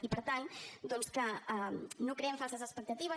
i per tant doncs que no creem falses expectatives